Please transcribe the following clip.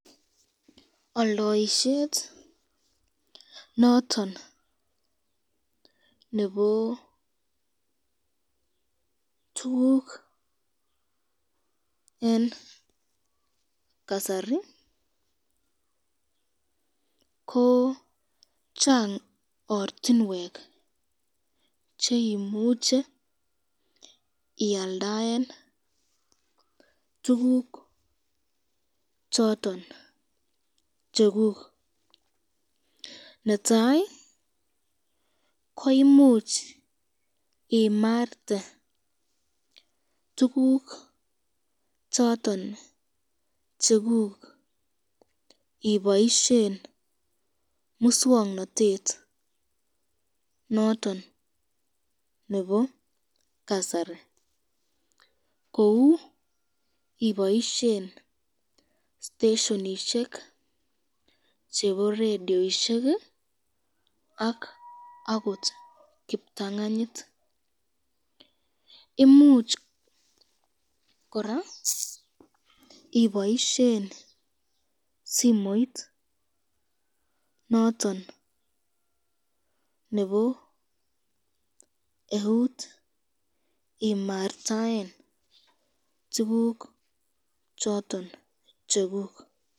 Oldoisyet noton nebo tukuk eng kasari, ko Chang ortinwek cheimuche ialdaen tukuk choton chekuk, netai koimuch imarte tukuk choton chekuk iboishen muswoknotet noton nebo kasari, kou iboishen stasionishek chebo radioishek ak akot kiptanganyit, imuch koraa iboishen simoit noton nebo eut omartaen tukuk choton chekuk.